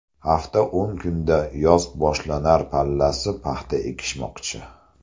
Hafta-o‘n kunda yoz boshlanar pallasi paxta ekishmoqchi.